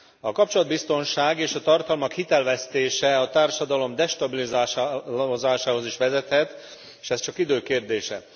A kapcsolatbiztonság és a tartalmak hitelvesztése a társadalom destabilizálásához is vezethet, és ez csak idő kérdése.